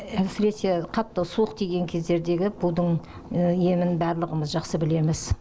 әсіресе қатты суық тиген кездердегі будың емін барлығымыз жақсы білеміз